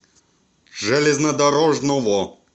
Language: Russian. железнодорожного